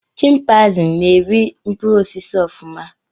Chimpanzees na-eri mkpụrụ osisi ofuma